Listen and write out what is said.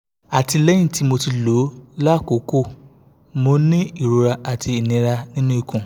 àti lẹ́yìn ti moti lo lákòókò mo ń ní ìrora àti inira nínú ikun